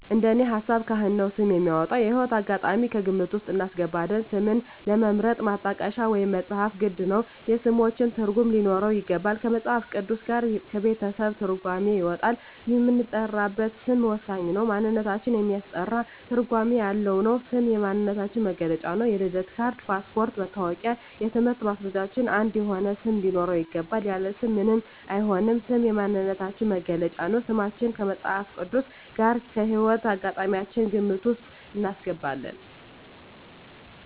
እንደኔ ሀሳብ ካህን ነው ስም የሚያወጣው። የህይወት አጋጣሚም ከግምት ውስጥ እናስገባለን ስምን ለመምረጥ ማጣቀሻ ወይም መፅሀፍት ግድ ነው የስሞችን ትርጉም ሊኖረው ይገባል ከመፅሀፍ ቅዱስ ጋር ከቤተሰብ ትርጓሜ ይወጣል የምንጠራበት ስም ወሳኝ ነው ማንነታችን የሚያስጠራ ትርጓሜ ያለው ነው ስም የማንነታችን መግለጫ ነው የልደት ካርድ ,ፓስፓርቶች ,መታወቂያ የትምህርት ማስረጃችን አንድ የሆነ ስም ሊኖረው ይገባል። ያለ ስም ምንም አይሆንም ስም የማንነታችን መገለጫ ነው። ስማችን ከመፅሀፍ ቅዱስ ጋር ከህይወት አጋጣሚያችን ግምት ውስጥ እናስገባለን